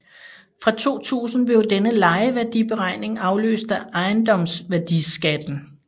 Fra 2000 blev denne lejeværdiberegning afløst af ejendomsværdiskatten